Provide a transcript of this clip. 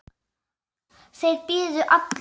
Þeir biðu allir.